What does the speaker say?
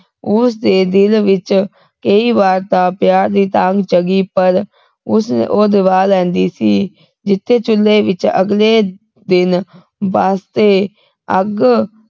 ਉਸਦੇ ਦਿਲ ਵਿਚ ਕਈ ਵਾਰ ਤਾ ਪਿਆਰ ਦੀ ਤਾਂਘ ਜਗੀ ਪਰ ਉਸਨੂੰ ਉਹ ਦਬਾ ਲੈਂਦੀ ਸੀ ਜਿਥੇ ਚੁੱਲ੍ਹੇ ਵਿਚ ਅਗਲੇ ਦਿਨ ਵਾਸਤੇ ਅੱਗ